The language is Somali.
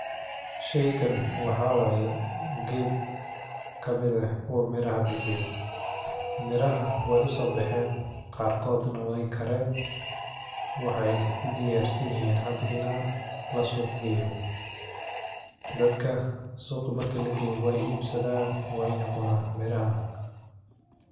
Shey gan waxawa ged kamid eh kuwa miraha bixiyo, miraha way usobaxen qarkodna way kareen, waxay udiyarsiin hada ina lasuq geyo, dadka suqa marki lageyo way eebsadan wayna cunana mirahan.